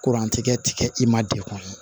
Kurantigɛ ti kɛ i ma dekun ye